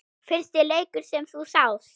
Fyrsti leikur sem þú sást?